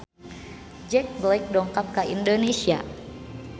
Jack Black dongkap ka Indonesia